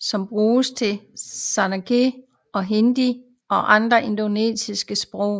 som bruges til sanskrit og hindi og andre indoariske sprog